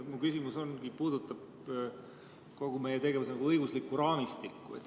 Mu küsimus puudutabki kogu meie tegevuse õiguslikku raamistikku.